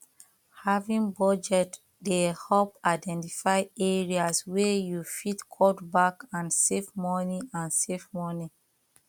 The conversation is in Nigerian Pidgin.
having budget dey help identify areas wey you fit cut back and save money and save money